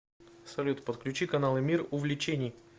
салют подключи каналы мир увлечений